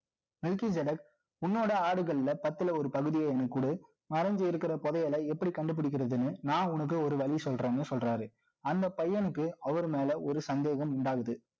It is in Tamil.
நிக்கி ஜெரக் உன்னோட ஆடுகள்ல, பத்துல ஒரு பகுதியே, எனக்கு குடு. மறைஞ்சு இருக்கிற, புதையலை, எப்படி கண்டு பிடிக்கிறதுன்னு, நான், உனக்கு, ஒரு வழி சொல்றேன்னு, சொல்றாரு. அந்த பையனுக்கு, அவர் மேல, ஒரு சந்தேகம் உண்டாகுது